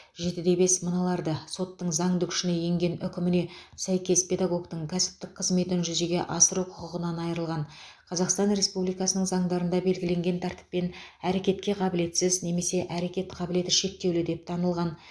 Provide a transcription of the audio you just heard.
жетіде бес мыналарды соттың заңды күшіне енген үкіміне сәйкес педагогтің кәсіптік қызметін жүзеге асыру құқығынан айырылған қазақстан республикасының заңдарында белгіленген тәртіппен әрекетке қабілетсіз немесе әрекет қабілеті шектеулі деп танылған